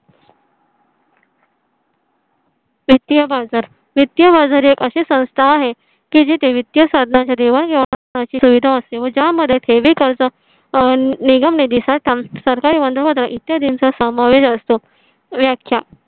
वित्तीय बाजार वित्तीय बाजार एक अशी संस्था आहे की जी ते वित्तीय साधनांच्या देवाणघेवाणाची सुविधा असते व ज्यामध्ये निगम निधी साठा सरकारी इत्यादींचा समावेश असतो व्याख्या.